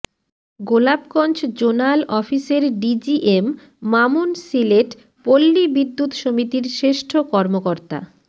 Golapganj zonal অফিসের DGM Mamun Sylhet পল্লী বিদ্যুৎ সমিতির শ্রেষ্ঠ কর্মকর্তা